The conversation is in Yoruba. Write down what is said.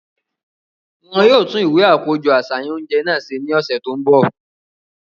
Wọn yóò tun iwe akojọ aṣayan ounjẹ náà se ni ọsẹ to nbo.